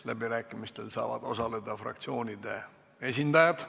Läbirääkimistel saavad osaleda fraktsioonide esindajad.